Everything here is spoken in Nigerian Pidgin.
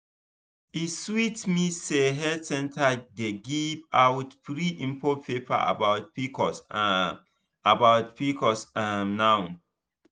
e sweet me say health center dey give out free info paper about pcos um about pcos um now.